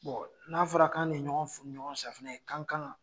Bon n'a fɔra kan ne ye ɲɔgɔn fu ni ɲɔgɔn safunɛ ye k'an kan ka